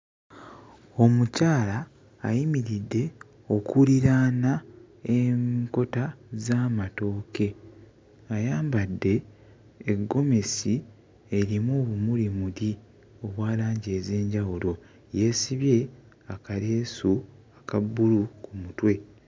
Omukyala ayimiridde okuliraana enkota z'amatooke ayambadde eggomesi erimu obumulimuli obwa langi ez'enjawulo yeesibye akaleesu aka bbulu ku mutwe.